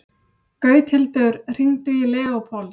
Gauthildur, hringdu í Leópold.